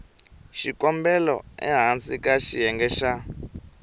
xikombelo ehansi ka xiyenge xa